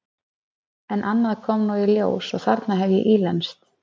En annað kom nú í ljós og þarna hef ég ílenst.